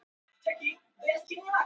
Engar skýringar voru gefnar á því